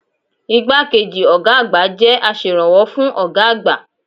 Igbákejì ọ̀gá àgbà jẹ́ aserànwọ́ fún ọ̀gá àgbà.